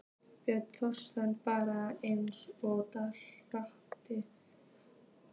Björn Þorláksson: Bara eins og Danirnir?